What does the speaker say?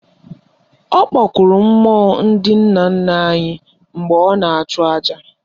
Ọ kpọkuru mmụọ ndị nna nna anyị mgbe ọ na-achụ aja